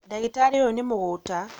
Ndagĩtarĩ ũyũ nĩ mũgũta